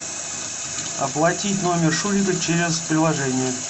оплатить номер шурика через приложение